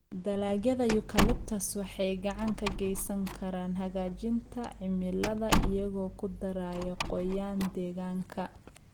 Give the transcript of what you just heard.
Dalagyada Eucalyptus waxay gacan ka geysan karaan hagaajinta cimilada iyagoo ku daraya qoyaan deegaanka.